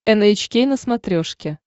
эн эйч кей на смотрешке